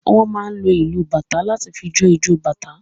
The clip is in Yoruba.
Wọn máa ń lò ìlu bàtá láti fí jo ìjọ bàtá